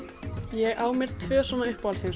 ég á mér tvö uppáhaldheimsmarkmið